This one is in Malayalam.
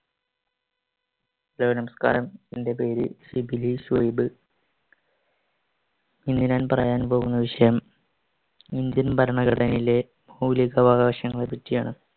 hello നമസ്ക്കാരം. എൻ്റെ പേര് ശിബിലി സുഹൈബ്. ഇന്ന് ഞാൻ പറയാൻ പോകുന്ന വിഷയം ഇന്ത്യൻ ഭരണഘടനയിലെ മൗലികാവകാശങ്ങളെ പറ്റിയാണ്.